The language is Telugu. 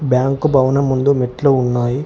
బ్యాంకు భవనం ముందు మెట్లు ఉన్నాయి.